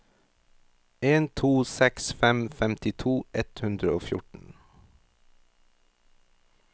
en to seks fem femtito ett hundre og fjorten